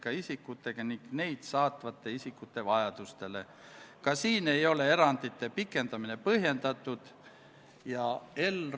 Hääletustulemused Poolt hääletas 62 Riigikogu liiget, vastuolijaid ja erapooletuid ei ole.